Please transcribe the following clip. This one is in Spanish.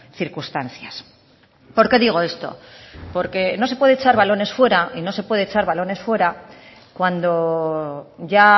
circunstancias por qué digo esto porque no se puede echar balones fuera y no se puede echar balones fuera cuando ya